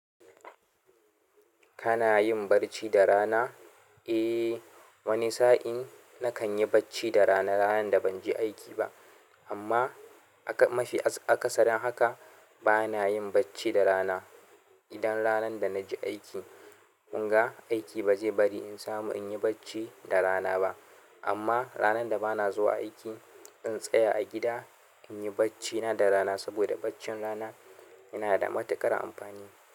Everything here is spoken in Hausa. Kana yin barci da rana? Eh, wani sa'in na kan yi bacci da rana, ranan da ban je aiki ba. Amma aka mafi, aka sarin haka bana yin bacci da rana. Idan ranan da na je aiki, ƙunga aiki ba zai bari in samu in yi bacci da rana ba. Amma ranan da bana zuwa aiki, in tsaya a gida, in yi baccina da rana saboda baccin rana yana da matuƙar amfani.